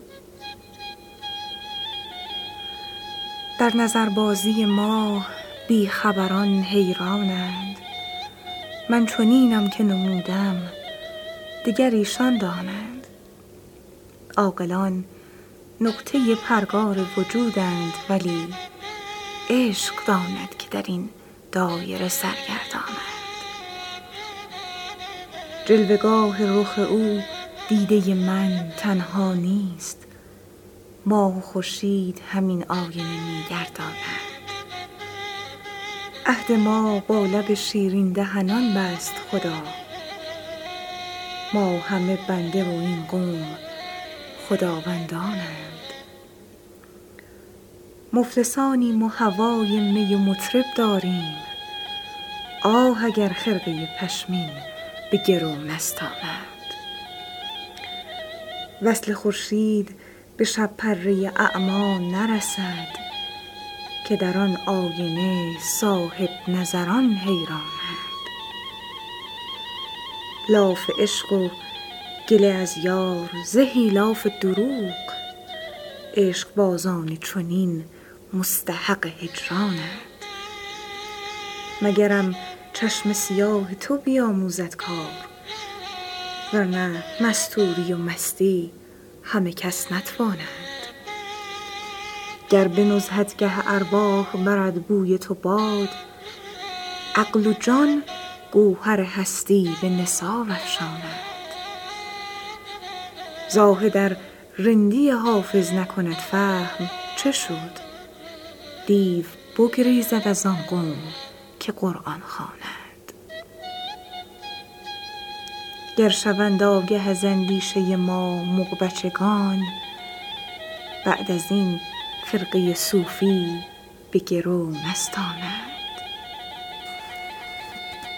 در نظربازی ما بی خبران حیران اند من چنینم که نمودم دگر ایشان دانند عاقلان نقطه پرگار وجودند ولی عشق داند که در این دایره سرگردان اند جلوه گاه رخ او دیده من تنها نیست ماه و خورشید همین آینه می گردانند عهد ما با لب شیرین دهنان بست خدا ما همه بنده و این قوم خداوندان اند مفلسانیم و هوای می و مطرب داریم آه اگر خرقه پشمین به گرو نستانند وصل خورشید به شب پره اعمی نرسد که در آن آینه صاحب نظران حیران اند لاف عشق و گله از یار زهی لاف دروغ عشق بازان چنین مستحق هجران اند مگرم چشم سیاه تو بیاموزد کار ورنه مستوری و مستی همه کس نتوانند گر به نزهتگه ارواح برد بوی تو باد عقل و جان گوهر هستی به نثار افشانند زاهد ار رندی حافظ نکند فهم چه شد دیو بگریزد از آن قوم که قرآن خوانند گر شوند آگه از اندیشه ما مغ بچگان بعد از این خرقه صوفی به گرو نستانند